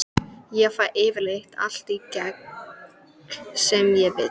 Ég fæ yfirleitt allt í gegn sem ég vil.